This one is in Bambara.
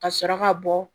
Ka sɔrɔ ka bɔ